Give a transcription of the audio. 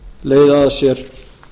leiða af sér